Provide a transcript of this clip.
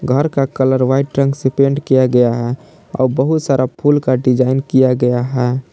घर का colour white रंग से पेंट किया गया है और बहुत सारा फूल का डिजाइन किया गया है।